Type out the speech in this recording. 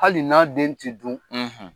Hali n'a den tɛ dun